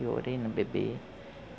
Eu orei no bebê.